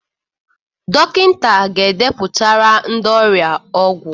Dọkịta ga edepụtara ndị ọrịa ọgwụ.